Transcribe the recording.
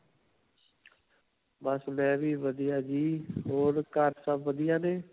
ਬਸ ਮੈਂ ਵੀ ਵਧੀਆ ਜੀ. ਹੋਰ ਘਰ ਸਭ ਵਧੀਆ ਨੇ?